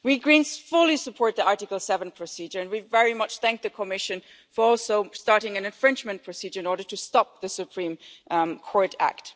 We Greens fully support the Article 7 procedure and we are also very grateful to the Commission for starting an infringement procedure in order to stop the Supreme Court